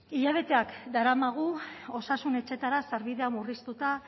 hilabeteak daramagu osasun etxetara sarbidea murriztuta